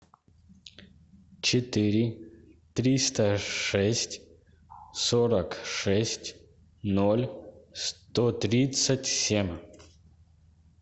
четыре триста шесть сорок шесть ноль сто тридцать семь